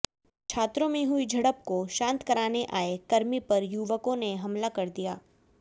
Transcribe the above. छात्रों में हुई झड़प को शांत कराने आए कर्मी पर युवकों ने हमला कर दिया